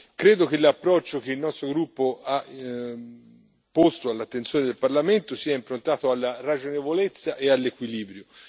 Credo che l'approccio che il nostro gruppo ha posto all'attenzione del Parlamento sia improntato alla ragionevolezza e all'equilibrio.